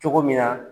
Cogo min na